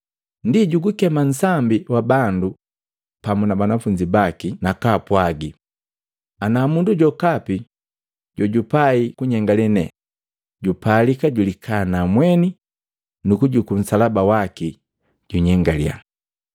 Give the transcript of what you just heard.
Ndi jugukema nsambi wa bandu pamu na banafunzi baki nakaapwagi, “Ana mundu jokapi jojupai kunyengale ne, jupalika julikana mweni nu kujukua nsalaba waki, junyengalia.